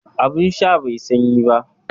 Abin sha bai yi sanyi ba